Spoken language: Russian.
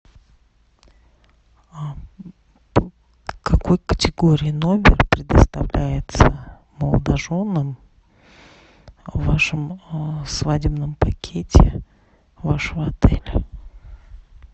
какой категории номер предоставляется молодоженам в вашем свадебном пакете в вашем отеле